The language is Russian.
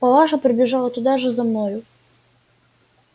палаша прибежала туда же за мною